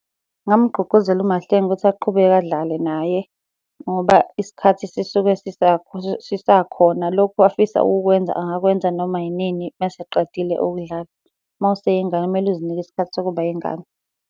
Ngingamgqugquzela uMahlengi ukuthi aqhubeke adlale naye, ngoba isikhathi sisuke sisakhona. Lokhu afisa ukukwenza angakwenza noma yinini uma eseqedile ukudlala. Uma useyingane kumele uzinike isikhathi sokuba yingane.